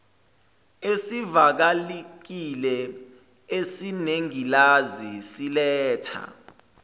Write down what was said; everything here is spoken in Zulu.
esivalekile esinengilazi siletha